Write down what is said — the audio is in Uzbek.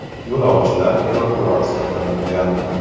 Yo‘lovchilar evakuatsiya qilingan.